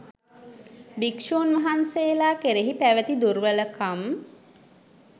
භික්ෂූන් වහන්සේලා කෙරෙහි පැවති දුර්වලකම්